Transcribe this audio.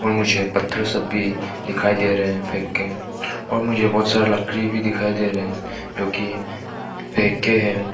और मुझे पत्थर सब भी दिखाई दे रहे हैं फेंके और मुझे बहुत सारा लकड़ी भी दिखाई दे रहे हैं जो कि फेंके हैं।